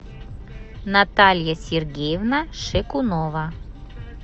наталья сергеевна шекунова